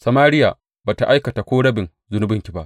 Samariya ba tă aikata ko rabin zunubanki ba.